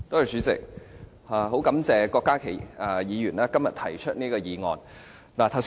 主席，非常感謝郭家麒議員今天提出這項議案。